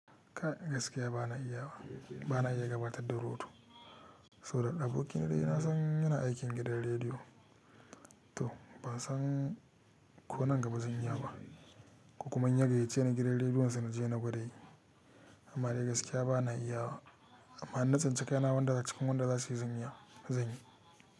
Ka gaskiya ba na iya wa, ba na iya gabatar da rotu, saboda aboki na dai na san yana aikin gidan rediyo. To ban san ko nan gaba zan iya ba, kokuma inya gayyace ni gidan rediyonsa na je na gwada yi, amma dai gaskiya ba na iya wa. Amma na tsinci kaina wanda cikin wanda za su yi zaniya zan yi.